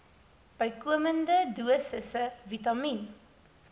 bykomende dosisse vitamien